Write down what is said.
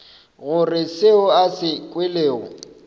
gore seo a se kwelego